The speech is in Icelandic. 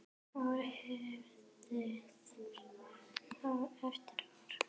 Ár eftir ár eftir ár.